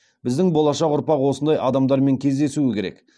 біздің болашақ ұрпақ осындай адамдармен кездесуі керек